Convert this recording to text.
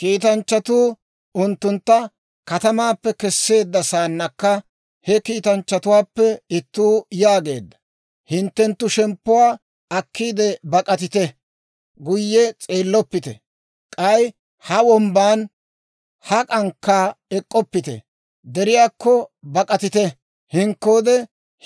Kiitanchchatuu unttuntta katamaappe kesseedda saannakka, he kiitanchchatuwaappe ittuu yaageedda; «Hinttenttu shemppuwaa akkiide bak'atite! Guye s'eelloppite! K'ay ha wombban hak'ankka ek'k'oppite! Deriyaakko bak'atite! Hinkkoode